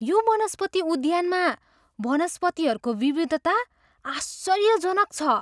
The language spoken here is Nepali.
यो वनस्पति उद्यानमा वनस्पतिहरूको विविधता आश्चर्यजनक छ!